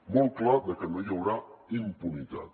molt clar de que no hi haurà impunitat